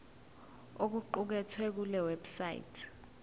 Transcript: okuqukethwe kule website